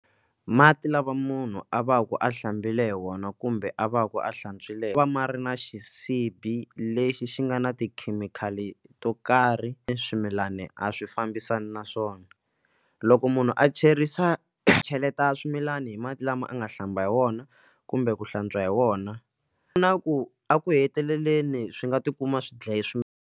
Mati lava munhu a va ku a hlambile hi wona kumbe a va ku a hlantswiwile ma va ma ri na xisibi lexi xi nga na tikhemikhali to karhi swimilani a swi fambisani naswona loko munhu a cherisa cheleta swimilana hi mati lama a nga hlamba hi wona kumbe ku hlantswa hi wona na ku eku heteleleni swi nga tikuma swi dlaye swimilana.